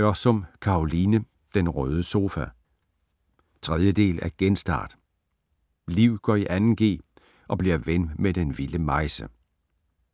Ørsum, Caroline: Den røde sofa 3. del af Genstart. Liv går i 2. g og bliver ven med den vilde Majse.